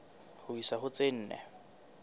ho isa ho tse nne